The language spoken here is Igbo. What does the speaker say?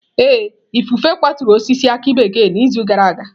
Ee, ifufe kwaturu osisi aki bekee n'izu gara aga.